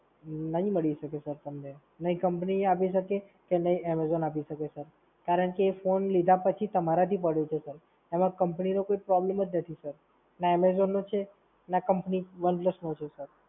નહીં મળી શકે Sir તમને. નહીં Company આપી શકે, કે નહીં amazon આપી શકે Sir. કારણ કે એ phone લીધા પછી તમારાથી પડ્યો છે Sir. એમાં Company નો કોઈ problem જ નથી Sir. ના amazon નો છે, ના Company One Plus નો છે Sir